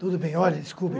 Tudo bem, olha, desculpe.